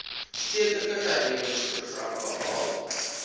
stedelike hernuwingsprogram behaal